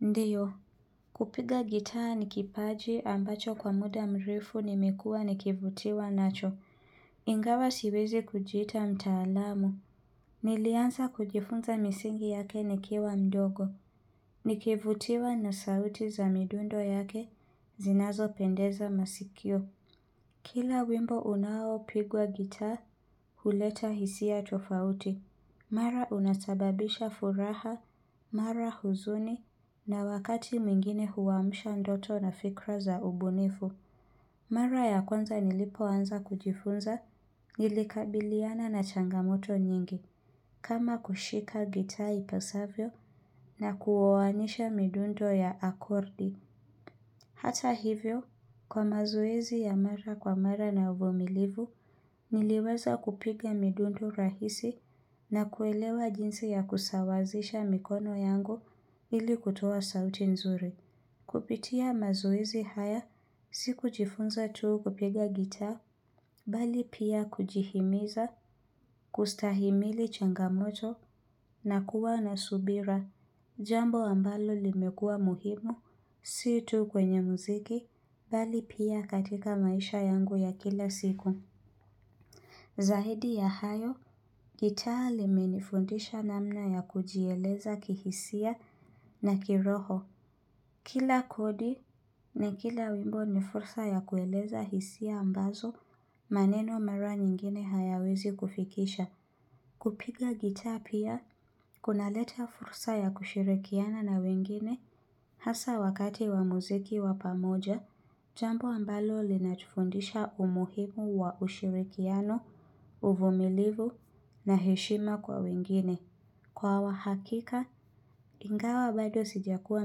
Ndiyo. Kupiga gitaa ni kipaji ambacho kwa muda mrefu nimekuwa nikivutiwa nacho. Ingawa siwezi kujiita mtaalamu. Nilianza kujifunza misingi yake nikiwa mdogo. Nikivutiwa na sauti za midundo yake zinazo pendeza masikio. Kila wimbo unao pigwa gitaa huleta hisia tofauti. Mara unasababisha furaha, mara huzuni, na wakati mwingine huwamsha ndoto na fikra za ubunifu. Mara ya kwanza nilipoanza kujifunza nilikabiliana na changamoto nyingi. Kama kushika gitaa ipasavyo na kuowanisha midundo ya akordi. Hata hivyo, kwa mazoezi ya mara kwa mara na uvumilivu, niliweza kupiga midundo rahisi na kuelewa jinsi ya kusawazisha mikono yangu ili kutoa sauti nzuri. Kupitia mazoezi haya, sikujifunza tu kupiga gitaa, bali pia kujihimiza, kustahimili changamoto na kuwa na subira. Jambo ambalo limekua muhimu, si tu kwenye muziki, bali pia katika maisha yangu ya kila siku. Zahidi ya hayo, gitaa limenifundisha namna ya kujieleza kihisia na kiroho. Kila kodi na kila wimbo ni fursa ya kueleza hisia ambazo, maneno mara nyingine hayawezi kufikisha. Kupiga gitaa pia, kuna leta fursa ya kushirikiana na wengine, hasa wakati wa muziki wa pamoja, jambu ambalo linatufundisha umuhimu wa ushirikiano, uvumilivu na heshima kwa wengine. Kwa wahakika, ingawa bado sijakuwa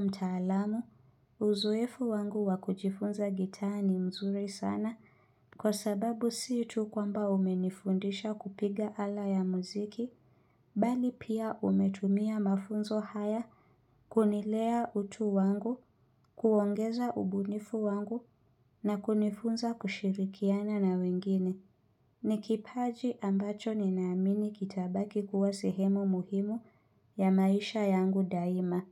mtaalamu, uzoefu wangu wakujifunza gitaa ni mzuri sana kwa sababu si tu kwamba umenifundisha kupiga ala ya muziki, bali pia umetumia mafunzo haya kunilea utu wangu, kuongeza ubunifu wangu na kunifunza kushirikiana na wengine. Ni kipaji ambacho ninaamini kitabaki kuwa sehemu muhimu ya maisha yangu daima.